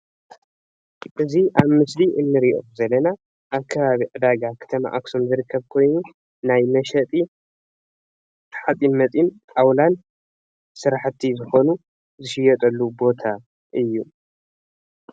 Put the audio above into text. እዚ ኣብ ምስሊ እንሪኦ ዘለና ኣብ ከባቢ ዕዳጋ ከተማ ኣክሱም ዝርከብ ኮይኑ ናይ መሸጢ ሓጺን መጺን ጣውላን ስራሕቲ ዝኮኑ ዝሽየጠሉ ቦታ እዩ::